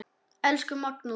Elsku Magnús.